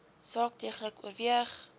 saak deeglik oorweeg